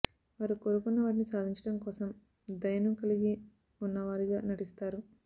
వారు కోరుకున్న వాటిని సాధించడం కోసం దయను కలిగి ఉన్నవారిగా నటిస్తారు